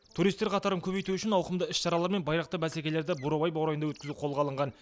туристер қатарын көбейту үшін ауқымды іс шаралар мен байрақты бәсекелерді бурабай баурайында өткізу қолға алынған